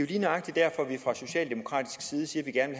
lige nøjagtig derfor vi fra socialdemokratisk side siger at vi